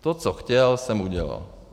To, co chtěl, jsem udělal.